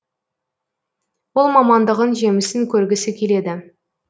ол мамандығын жемісін көргісі келеді